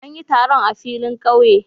An yi taron a filin kauye.